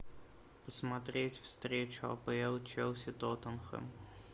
посмотреть встречу апл челси тоттенхэм